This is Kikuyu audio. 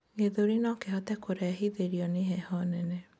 gĩthũri nokihote kurehithirio ni heho nene